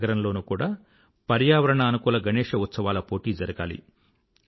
ప్రతి నగరంలోనూ కూడా పర్యావరణానుకూల గణేశ ఉత్సవాల పోటీ జరగాలి